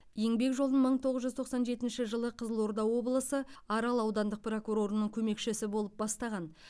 еңбек жолын мың тоғыз жүз тоқсан жетінші жылы қызылорда облысы арал аудандық прокурорының көмекшісі болып бастаған